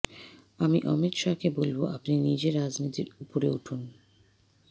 আমি অমিত শাহকে বলব আপনি নিজে রাজনীতির উপরে উঠুন